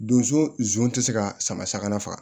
Donso zon tɛ se ka sama saga faga